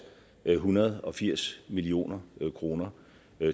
en hundrede og firs million kroner